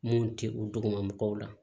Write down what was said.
Mun tɛ u dugumabagaw la